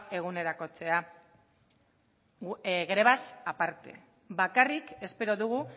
eguneratzea grebaz aparte bakarrik espero dugu